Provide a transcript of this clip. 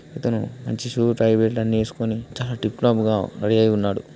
ఇతను మంచి shoe tie belt అన్ని వేసుకుని చాలా టిప్ టాప్ గా రెడీ అయి ఉన్నాడు.